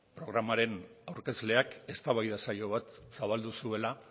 programaren aurkezleak eztabaida saio bat zabaldu zuela